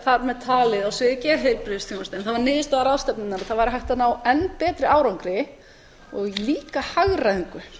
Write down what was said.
þar með talið á sviði geðheilbrigðisþjónustu það var niðurstaða ráðstefnunnar að það væri hægt að ná enn betri árangri og líka hagræðingu